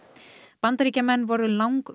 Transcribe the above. Bandaríkjamenn voru